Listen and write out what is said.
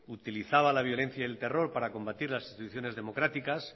utilizaba la violencia y el terror para combatir las instituciones democráticas